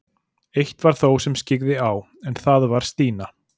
Eitt var það þó sem skyggði á, en það var Stína.